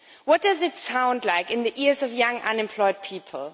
What does it sound like in the ears of young unemployed people?